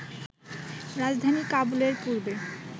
রাজধানী কাবুলের পূর্বে